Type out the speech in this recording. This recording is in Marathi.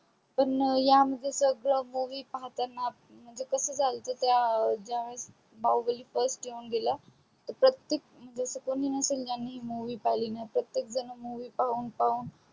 पण या मध्ये सगड movie पाहताना म्हणजे कस झालत त्या ज्या वेळेस बाहुबली first येऊन गेला तर प्रतेक म्हणजे अस कोणी नसेल की ज्यानि movie पाहली नाही प्रतेकजन movie पाहून पाहून